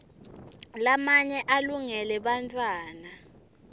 lamanye alungele bantfwana